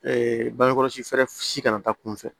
bange kɔlɔsi fɛɛrɛ si kana taa kunfɛ